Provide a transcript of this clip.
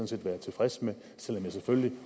set være tilfreds med selv om jeg selvfølgelig